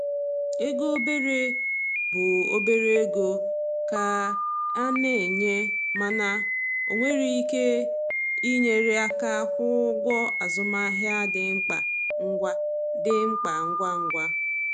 Ego obere bụ obere ego ka e na-enye, mana o nwere ike inyere aka kwụọ ụgwọ azụmahịa dị mkpa ngwa dị mkpa ngwa ngwa.